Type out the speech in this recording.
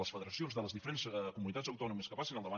les fe·deracions de les diferents comunitats autònomes que passin al davant